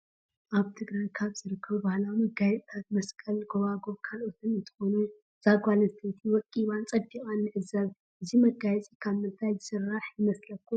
አበ ትግራይ ካበ ዝርከቡ ባህላዊ መጋየፅታት መሰቀል ጎባጉብ ካልኦትን እንትኮኑ እዛ ጋል አንስተየቲ ወቂባን ፀቢቃን ንዕዘብ ።እዚ መጋየፂ ካብ ምንታይ ዝስራሕ ይመስለኩም?